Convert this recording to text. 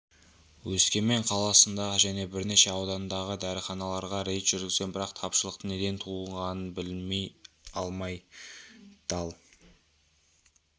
өскемен қаласындағы және бірнеше аудандағы дәріханаларға рейд жүргізген бірақ тапшылықтың неден туындағанын біле алмай дал